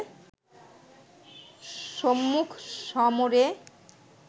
সম্মুখ সমরে